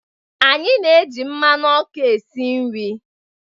Anyị na-eji mmanụ ọkụ esi nri